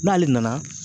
N'ale nana